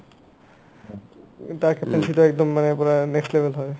তাক captaincy তো একদম মানে পূৰা next level হয়